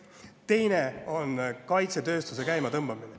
Teine on kaitsetööstuse käimatõmbamine.